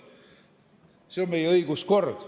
Selline on meie õiguskord.